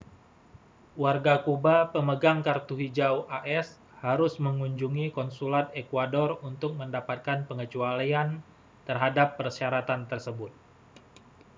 warga kuba pemegang kartu hijau as harus mengunjungi konsulat ekuador untuk mendapatkan pengecualian terhadap persyaratan tersebut